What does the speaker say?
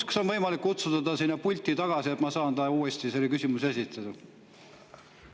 Kas on võimalik kutsuda ta siia pulti tagasi, et ma saaks talle uuesti selle küsimuse esitada?